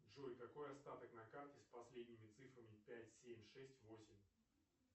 джой какой остаток на карте с последними цифрами пять семь шесть восемь